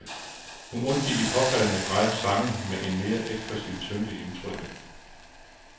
Hun undgik i påfaldende grad sange med en mere ekspressiv tyngde i udtrykket.